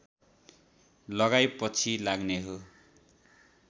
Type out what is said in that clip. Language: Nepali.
लगाइ पछि लाग्ने हो